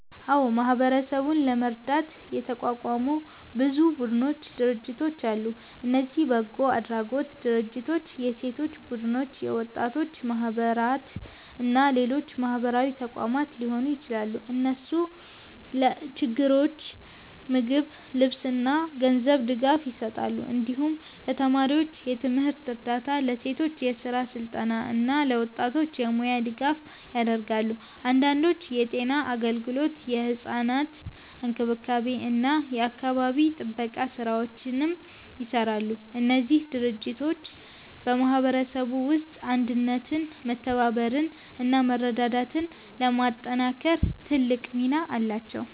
አዎ፣ ማህበረሰቡን ለመርዳት የተቋቋሙ ብዙ ቡድኖችና ድርጅቶች አሉ። እነዚህ በጎ አድራጎት ድርጅቶች፣ የሴቶች ቡድኖች፣ የወጣቶች ማህበራት እና ሌሎች ማህበራዊ ተቋማት ሊሆኑ ይችላሉ። እነሱ ለችግረኞች ምግብ፣ ልብስ እና ገንዘብ ድጋፍ ይሰጣሉ። እንዲሁም ለተማሪዎች የትምህርት እርዳታ፣ ለሴቶች የስራ ስልጠና እና ለወጣቶች የሙያ ድጋፍ ያደርጋሉ። አንዳንዶቹ የጤና አገልግሎት፣ የሕፃናት እንክብካቤ እና የአካባቢ ጥበቃ ስራዎችንም ይሰራሉ። እነዚህ ድርጅቶች በማህበረሰቡ ውስጥ አንድነትን፣ መተባበርን እና መረዳዳትን ለማጠናከር ትልቅ ሚና አላቸው።